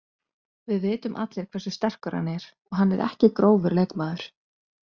Við vitum allir hversu sterkur hann er og hann er ekki grófur leikmaður.